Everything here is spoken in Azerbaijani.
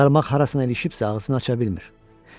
Qarmaq harasına ilişibsə ağrısını hiss eləyə bilmir.